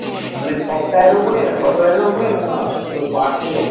মানে Software এর উপরে software এর উপরে না ওর parts এর উপরে,